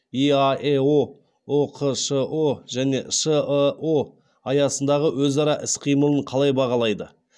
иаэо ұқшұ және шыұ аясындағы өзара іс қимылын қалай бағалайды